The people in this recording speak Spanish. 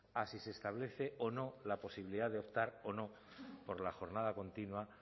a si se establece o no la posibilidad de optar o no por la jornada continua